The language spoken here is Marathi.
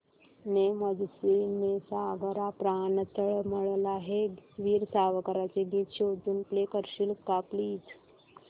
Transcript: ने मजसी ने सागरा प्राण तळमळला हे वीर सावरकरांचे गीत शोधून प्ले करशील का प्लीज